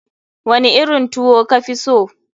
Wani irin tuwo ka fi so?